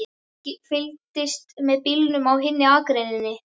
Fylgdist með bílum á hinni akreininni.